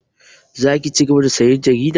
Za ki cigaba da sayan jarida?